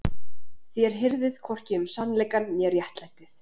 Þér hirðið hvorki um sannleikann né réttlætið.